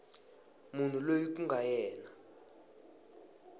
munhu loyi ku nga yena